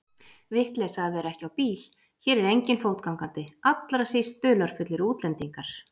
Vitleysa að vera ekki á bíl, hér er enginn fótgangandi, allra síst dularfullir útlendingar.